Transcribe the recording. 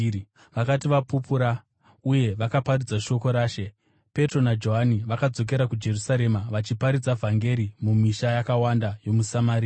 Vakati vapupura uye vakaparidza shoko raShe, Petro naJohani vakadzokera kuJerusarema, vachiparidza vhangeri mumisha yakawanda yomuSamaria.